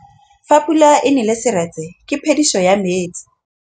Fa pula e nelê serêtsê ke phêdisô ya metsi.